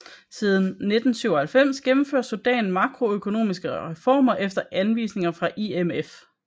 Siden 1997 gennemfører Sudan makroøkonomiske reformer efter anvisninger fra IMF